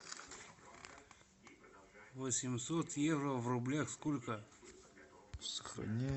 восемьсот евро в рублях сколько